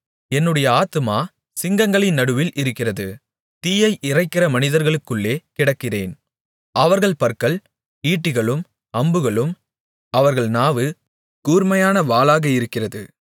என்னுடைய ஆத்துமா சிங்கங்களின் நடுவில் இருக்கிறது தீயை இறைக்கிற மனிதர்களுக்குள்ளே கிடக்கிறேன் அவர்கள் பற்கள் ஈட்டிகளும் அம்புகளும் அவர்கள் நாவு கூர்மையான வாளாக இருக்கிறது